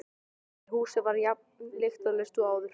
En húsið var jafn lyktarlaust og áður.